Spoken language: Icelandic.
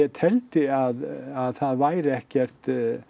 teldi að það væri ekkert